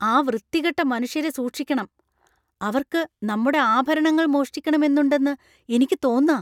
ആ വൃത്തികെട്ട മനുഷ്യരെ സൂക്ഷിക്കണം. അവർക്ക് നമ്മടെ ആഭരണങ്ങൾ മോഷ്ടിക്കണം എന്നുണ്ടന്നു എനിക്ക് തോന്നാ.